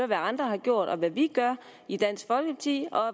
hvad andre har gjort og hvad vi gør i dansk folkeparti og